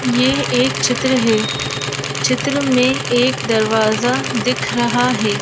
ये एक चित्र है चित्र में एक दरवाजा दिख रहा है।